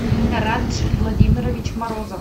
радж владимирович морозов